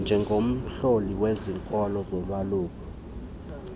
njengomhloli wezikolo zolwaluko